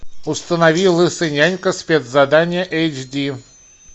установи лысый нянька спецзадание эйч ди